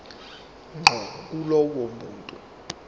ngqo kulowo muntu